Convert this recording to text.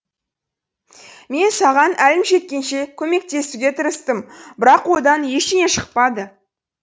мен саған әлім жеткенше көмектесуге тырыстым бірақ одан ештеңе шықпады